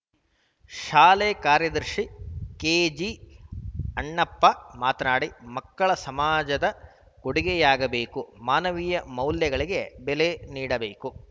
ಶಾಲೆ ಕಾರ್ಯದರ್ಶಿ ಕೆಜಿ ಅಣ್ಣಪ್ಪ ಮಾತನಾಡಿ ಮಕ್ಕಳ ಸಮಾಜದ ಕೊಡುಗೆಯಾಗಬೇಕು ಮಾನವೀಯ ಮೌಲ್ಯಗಳಿಗೆ ಬೆಲೆ ನೀಡಬೇಕು